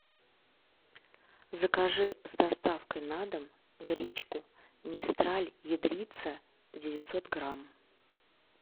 закажи с доставкой на дом гречку мистраль ядрица девятьсот грамм